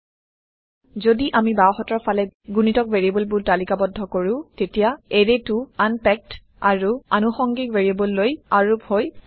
যদি আমি বাওহাতৰ ফালে গুণিতক ভাৰিয়েবলবোৰ তালিকাবদ্ধ কৰো তেতিয়া এৰেটো আনপেক্দ আৰু আনুষঙ্গিক ভেৰিয়েবললৈ আৰোপ হয় থাকে